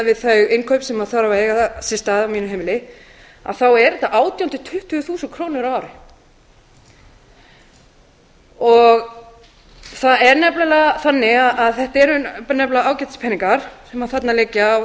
við þau innkaup sem þurfa að eiga sér stað á mínu heimili að þá eru þetta átján til tuttugu þúsund krónur á ári það er nefnilega þannig að þetta eru nefnilega ágætis peningar sem þarna liggja og